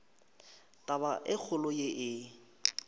taba e kgolo ye e